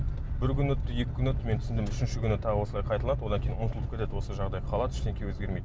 бір күн өтті екі күн өтті мен түсіндім үшінші күні тағы осылай қайталанады одан кейін ұмытылып кетеді осы жағдай қалады ештеңе өзгермейді